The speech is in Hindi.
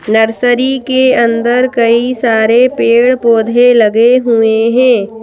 नर्सरी के अंदर कई सारे पेड़-पौधे लगे हुए हैं।